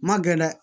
Ma gɛlɛ dɛ